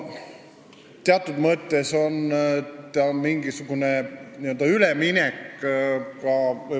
See on teatud mõttes üleminek.